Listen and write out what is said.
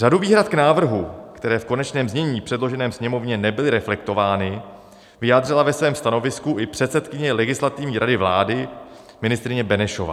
Řadu výhrad k návrhu, které v konečném znění předloženém Sněmovně nebyly reflektovány, vyjádřila ve svém stanovisku i předsedkyně Legislativní rady vlády ministryně Benešová.